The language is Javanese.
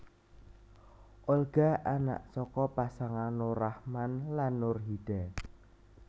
Olga anak saka pasangan Nur Rachman lan Nurhida